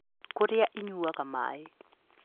Kũrĩa ĩnyuaga maĩ.